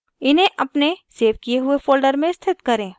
इन्हें अपने सेव किये हुए folder में स्थित करें